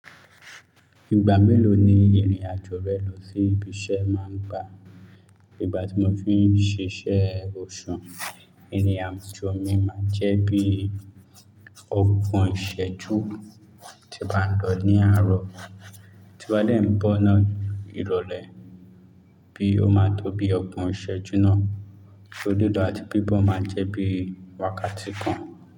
Ìgbà mélòó ni ìrìn àjò rẹ lọ sí ibi iṣẹ́ máa ń gba? Ìgbà tí mo fi ń ṣiṣẹ́ òṣu, ìrìn àjò mi máa ń jẹ́ bí ọ̀gbon iṣẹ́jú tí mo bá ń lọ ní àárọ̀, tí mo bá dẹ̀ ń bọ̀ náà ìrọ̀lẹ́ bí ó máa tó bí ọ̀gbon iṣẹ́jú náà, oso lilo àti bíbọ̀ máa ń jẹ́ bí wákàtí kan.